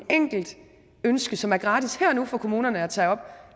enkelt ønske som er gratis her og nu for kommunerne at tage op